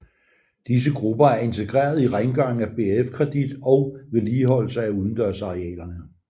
Disse grupper er integreret i rengøringen af BRFkredit og vedligeholdelse af udendørsarealerne